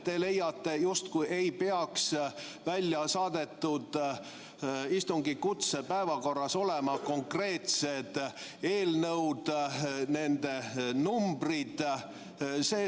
Te leiate justkui ei peaks välja saadetud istungi kutse päevakorras olema konkreetsed eelnõud, nende numbrid.